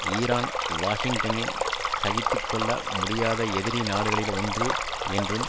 Iran வாஷிங்டனின் சகித்து கொள்ள முடியாத எதிரி நாடுகளில் ஒன்று என்றும்